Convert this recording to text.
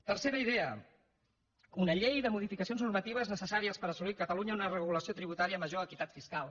tercera idea una llei de modificacions normatives necessàries per assolir a catalunya una regulació tributària amb major equitat fiscal